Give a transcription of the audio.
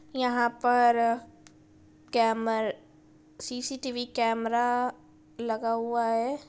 यहा पर camera CCTV camera लगा हुआ है।